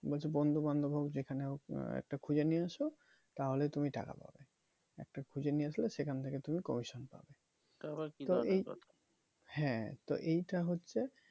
বলছে বন্ধু বান্ধব হোক যেখানে হোক একটা খুঁজে নিয়ে আসো তাহলে তুমি টাকা পাবে একটা খুঁজে নিয়ে আসলে সেখান থেকে তুমি commission পাবে হ্যাঁ তো এইটা হচ্ছে